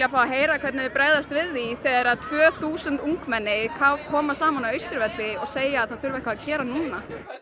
heyra hvernig þau bregðast við því þegar tvö þúsund ungmenni koma saman á Austurvelli og segja að það þurfi eitthvað að gera núna